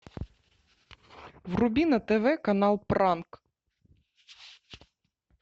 вруби на тв канал пранк